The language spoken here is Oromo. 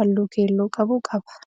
halluu keelloo qabu qaba.